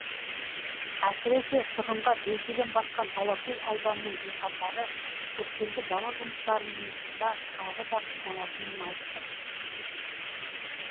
әсіресе шығынға белшеден батқан алакөл ауданының диқандары көктемгі дала жұмыстарында тағы да қиналатынын айтды